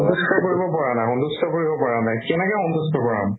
সন্তুষ্ট কৰিব পৰা নাই সন্তুষ্ট কৰিব পৰা নাই কেনেকে সন্তুষ্ট কৰাম